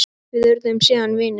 Við urðum síðan vinir.